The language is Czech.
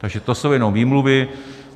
Takže to jsou jenom výmluvy.